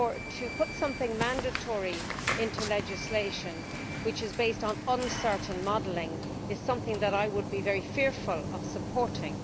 To put something mandatory into legislation which is based on uncertain modelling is something that I would be very fearful of supporting.